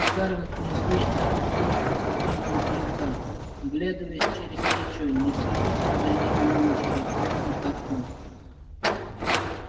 скарлетт неслышно спустилась по ступенькам крыльца оглядываясь через плечо не следит ли за ней мамушка из верхних окон